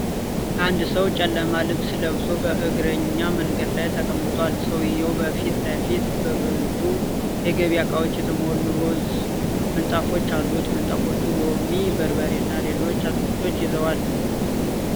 አንድ ሰው ጨለማ ልብስ ለብሶ በእግረኛ መንገድ ላይ ተቀምጧል፡፡ ሰውዬው በፊት ለፊቱ በብዙ የገበያ እቃዎች የተሞሉ ሮዝ ምንጣፎች አሉት፡፡ ምንጣፎቹ ሎሚ፣ በርበሬ እና ሌሎች አትክልቶችን ይዘዋል፡፡